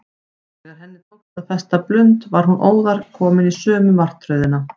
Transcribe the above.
Þegar henni tókst að festa blund var hún óðar komin í sömu martröðina.